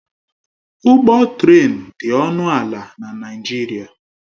Ụgwọ trén dị ọnụ ala na Naịjirịa.